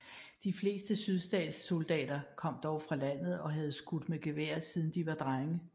De fleste sydstatssoldater kom dog fra landet og havde skudt med gevær siden de var drenge